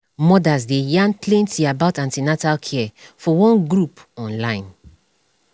mothers dey yarn plenty about an ten atal care for one group on online